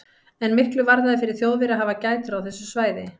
En miklu varðaði fyrir Þjóðverja að hafa gætur á þessu svæði.